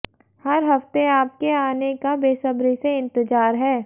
हर हफ्ते आपके आने का बेसब्री से इंतजार है